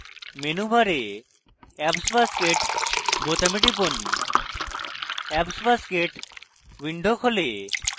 menu bar এ apps basket বোতামে টিপুন apps basket window খোলে